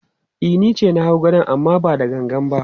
E, ni ce na hau gadon amma ba da gangan ba.